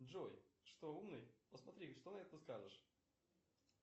джой что умный посмотри что на это скажешь